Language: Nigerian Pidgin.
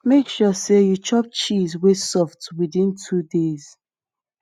make sure sey you chop cheese wey soft within two days